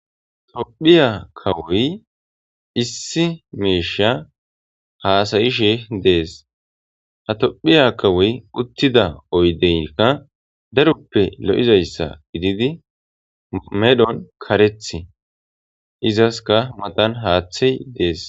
Tophiya kawoy issi miishsha haasayishe de7es. Ha tophiya kawoy uttida oydeynka daroppe lo7izayssa gitidi medhon kareth izaska matan haaththey dees.